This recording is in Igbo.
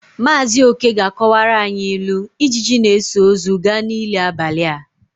Maazị oke ga-akọwara anyị ilu " Ijiji na-eso ozu ga n'ili abalị a "